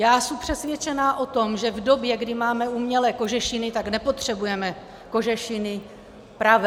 Já jsem přesvědčená o tom, že v době, kdy máme umělé kožešiny, tak nepotřebujeme kožešiny pravé.